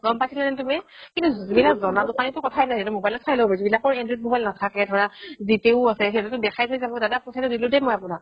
গ'ম পাইছিলা নে তুমি? কিন্তু যি বিলাক জনা দুকানি সেই বিলাকতো কথাই নাই সিহতে mobile ত চাই ল'ব যিবিলাকৰ android mobile নাথাকে ধৰা G pay ও আছে সিহতো দেখাই থই যাব দাদা পইচাতো দিলো দেই আপুনাক